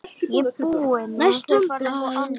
Næstum blár.